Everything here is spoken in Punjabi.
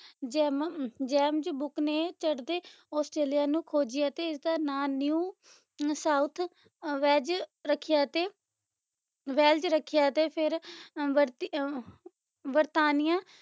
ਜੈਮਮ ਜੈਮਜ ਬੁਕ ਨੇ ਚੜਦੇ ਆਸਟ੍ਰੇਲੀਆ ਨੂੰ ਖੋਜਿਆ ਤੇ ਇਸਦਾ ਨਾਂ new ਸਾਊਥ ਅਹ ਵੈਜ ਰੱਖਿਆ ਤੇ ਵੈਲਜ ਰੱਖਿਆ ਤੇ ਫਿਰ ਬਰਤੀ ਅਹ ਬਰਤਾਨੀਆ